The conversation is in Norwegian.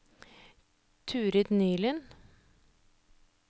Turid Nylund